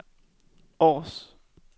Aars